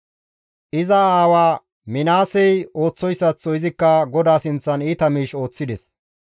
Iza aawa Minaasey ooththoyssaththo izikka GODAA sinththan iita miish ooththides.